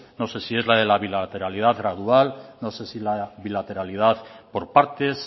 no sé si es la de la bilateralidad gradual no sé si es la de la bilateralidad por partes